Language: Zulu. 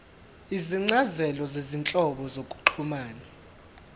izincazelo zezinhlobo zokuxhumana